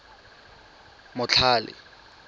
motlhale